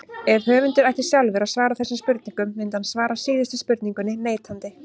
Ef höfundur ætti sjálfur að svara þessum spurningum myndi hann svara síðustu spurningunni neitandi.